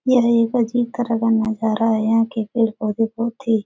यह एक अजीब तरह का नजारा है यहाँ के पेड़-पौधे बहुत ही --